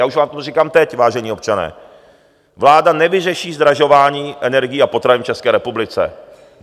Já už vám to říkám teď, vážení občané, vláda nevyřeší zdražování energií a potravin v České republice.